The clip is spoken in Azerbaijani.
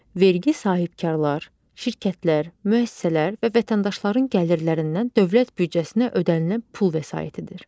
Vergi sahibkarlar, şirkətlər, müəssisələr və vətəndaşların gəlirlərindən dövlət büdcəsinə ödənilən pul vəsaitidir.